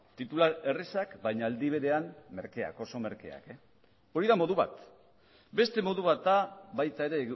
titular errazak baina aldi berean merkeak oso merkeak hori da modu bat beste modu bat da baita ere